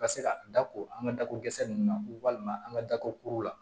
Ka se ka da ko an ka dako zɛ nunnu na walima an ka dako kuru la